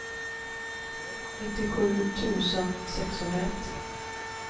nittiosju tusen sexhundraett